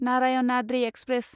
Narayanadri express